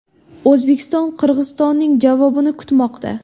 O‘zbekiston Qirg‘izistonning javobini kutmoqda.